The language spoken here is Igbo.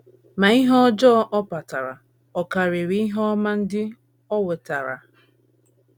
Ma ihe ọjọọ ọ kpatara ọ̀ karịrị ihe ọma ndị o wetara?